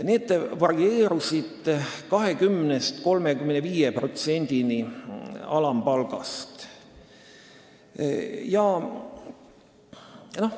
Ettepanekud varieerusid 20%-st kuni 35%-ni alampalgast.